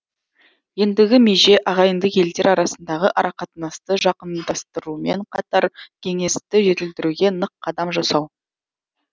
ендігі меже ағайынды елдер арасындағы арақатынасты жақындастырумен қатар кеңесті жетілдіруге нық қадам жасау